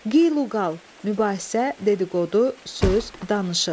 Qeylüqal, mübahisə, dedi-qodu, söz, danışıq.